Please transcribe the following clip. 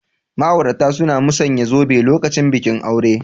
Ma'aurata suna musauyan zube lokacin bikin aure.